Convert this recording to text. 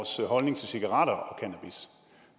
holdning til cigaretter